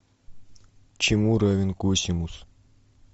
чему равен косинус